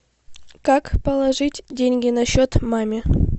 как положить деньги на счет маме